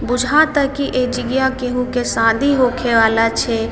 बुझाता की ए जगह केहू के शादी होखे वाला छै।